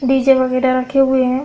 DJ वगैरह रखे हुए है।